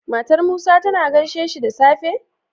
Matar musa tAna gaishe dashi da safe?